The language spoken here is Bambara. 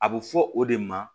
A bɛ fɔ o de ma